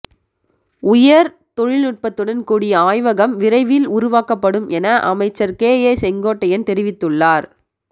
உயர் தொழில்நுட்பத்துடன் கூடிய ஆய்வகம் விரைவில் உருவாக்கப்படும்என அமைச்சர் கே ஏ செங்கோட்டையன் தெரிவித்துள்ளார்